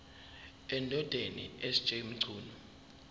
endodeni sj mchunu